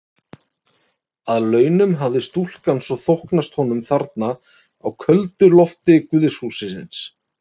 Að launum hafði stúlkan svo þóknast honum þarna á köldu lofti guðshússins.